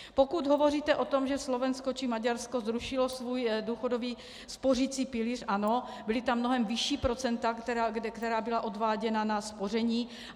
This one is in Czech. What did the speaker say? Pokud hovoříte o tom, že Slovensko či Maďarsko zrušilo svůj důchodový spořicí pilíř, ano, byla tam mnohem vyšší procenta, která byla odváděna na spoření.